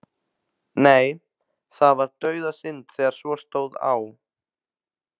Nei, það var dauðasynd þegar svo stóð á.